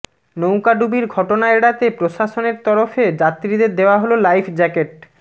নৌকা ডুবির ঘটনা এড়াতে প্রশাসনের তরফে যাত্রীদের দেওয়া হল লাইফ জ্যাকেট